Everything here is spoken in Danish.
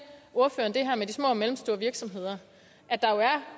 ordføreren det her med de små og mellemstore virksomheder